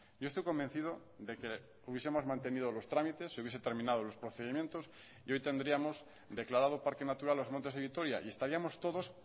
yo estoy convencido de que hubiesemos mantenido los trámites se hubiese terminado los procedimientos y hoy tendríamos declarado parque natural los montes de vitoria y estaríamos todos